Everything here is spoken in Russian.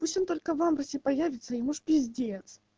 пусть он только в августе появится и ему ж пиздец